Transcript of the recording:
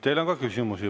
Teile on ka küsimusi.